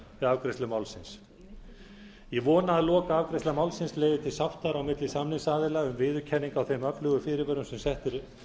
afgreiðslu málsins ég vona að lokaafgreiðsla málsins leiði til sáttar á milli samningsaðila um viðurkenningu á þeim öflugu fyrirvörum sem settir